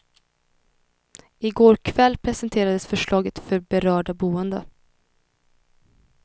I går kväll presenterades förslaget för berörda boende.